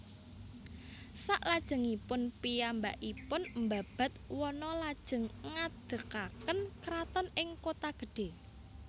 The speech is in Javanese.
Salajengipun piyambakipun mbabad wana lajeng ngadegaken kraton ing Kotagedhé